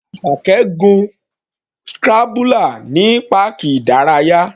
Asake gun scrambler ní páàkì ìdárayá.